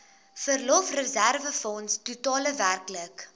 verlofreserwefonds totaal werklik